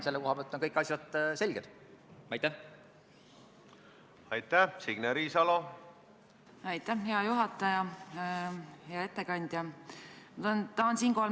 Kuulsin teie sõnavõtust, et see 21 000 euro suurune ettemaks jääb seaduse mõistes nagu stopile või realiseerimata.